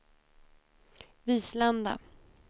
Vislanda